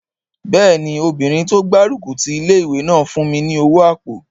Bẹ́ẹ̀ni, obìnrin tó gbárùkù ti ilé-ìwé náà fún mi ní owó àpò